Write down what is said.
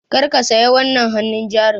Kar ka saya wannan hannun jarin!